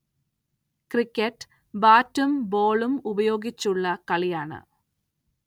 Cricket ബാറ്റും ബോളും ഉപയോഗിച്ചുള്ള കളിയാണ്.